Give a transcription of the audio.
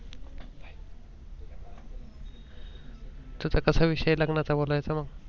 तुझा कसा आहे विषय लग्नाचा बोलायचं मग?